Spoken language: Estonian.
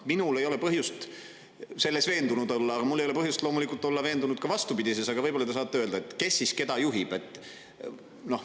Minul ei ole põhjust selles veendunud olla ja loomulikult mul ei ole põhjust olla veendunud ka vastupidises, aga võib-olla te saate öelda, kes siis keda juhib.